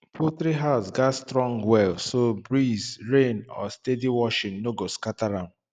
poultry house gats strong well so breeze rain or steady washing no go scatter am